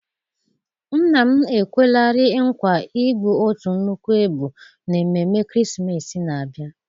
Nna m ekwelarị nkwa igbu otu nnukwu ebu n'ememme ekeresimesi na-abịa.